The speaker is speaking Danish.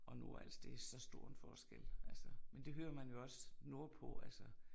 Og Nordals det så stor en forskel altså, men det hører man jo også nordpå altså